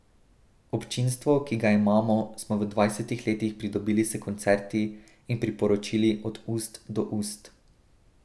Občinstvo, ki ga imamo, smo v dvajsetih letih pridobili s koncerti in priporočili od ust do ust.